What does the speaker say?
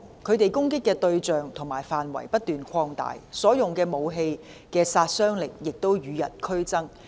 他們攻擊的對象及範圍不斷擴大，所用武器的殺傷力亦與日俱增。